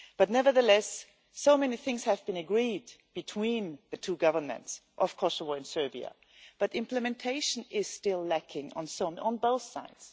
But nevertheless, so many things have been agreed between the two governments of Kosovo and Serbia, but implementation is still lacking on both sides.